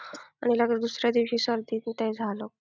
आणि लगेच दुसऱ्या दिवशी सर्दी न ते झालं.